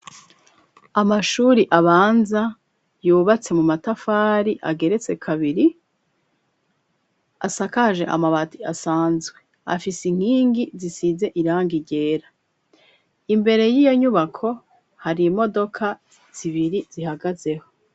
Amashure abanza yubatse mu matafari, ageretse kabiri, asakaje amabati asanzwe, afise inkingi zisize irangi ryera. imbere y'iyo nyubako hari imodoka zibiri zihagazeho.